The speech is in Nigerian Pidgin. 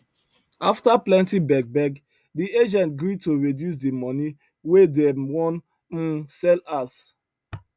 after plenty begbeg the agent gree to reduce the money wey dem wan um sell house